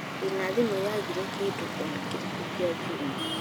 ndĩ na thimũ yaagire kĩndu onakĩrĩkũ kĩa njũma